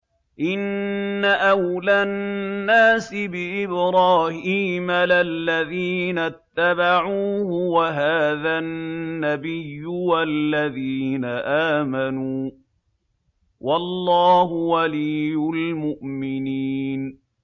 إِنَّ أَوْلَى النَّاسِ بِإِبْرَاهِيمَ لَلَّذِينَ اتَّبَعُوهُ وَهَٰذَا النَّبِيُّ وَالَّذِينَ آمَنُوا ۗ وَاللَّهُ وَلِيُّ الْمُؤْمِنِينَ